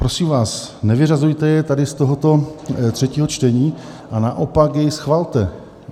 Prosím vás, nevyřazujte jej tady z tohoto třetího čtení a naopak jej schvalte.